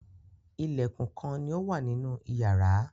Ilẹ̀kùn kán ní ọ wá nínú iyàrá.